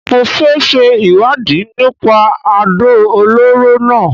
Mo fẹ ṣe ìwádìí nípa àdó olóró náà